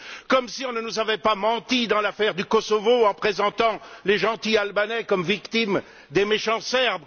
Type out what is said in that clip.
comme si on ne nous avait pas menti dans l'affaire du Kosovo, en présentant les gentils Albanais comme victimes des méchants Serbes